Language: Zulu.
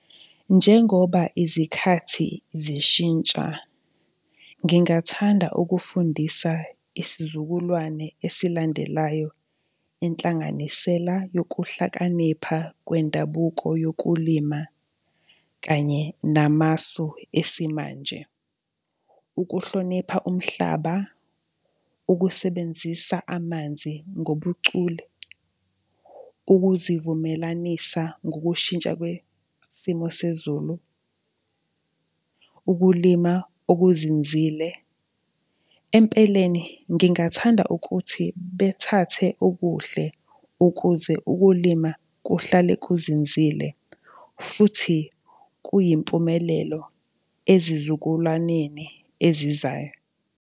Njengoba izikhathi zishintsha, ngingathanda ukufundisa isizukulwane esilandelayo inhlanganisela yokuhlakanipha kwendabuko yokulima kanye namasu esimanje. Ukuhlonipha umhlaba, ukusebenzisa amanzi ngobucule, ukuzivumelanisa ngokushintsha kwesimo sezulu, ukulima okuzinzile. Empeleni ngingathanda ukuthi bethathe okuhle ukuze ukulima kuhlale kuzinzile futhi kuyimpumelelo ezizukulwaneni ezizayo.